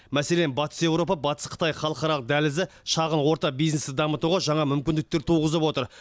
мәселен батыс еуропа батыс қытай халықаралық дәлізі шағын орта бизнесті дамытуға жаңа мүмкіндіктер туғызып отыр